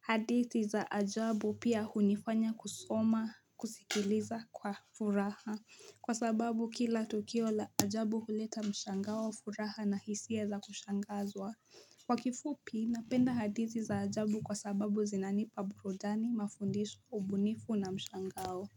hadithi za ajabu pia hunifanya kusoma, kusikiliza kwa furaha. Kwa sababu kila tukio la ajabu huleta mshangao wa furaha na hisia za kushangazwa. Kwa kifupi napenda hadithi za ajabu kwa sababu zinanipa burudani, mafundisho, ubunifu na mshangao.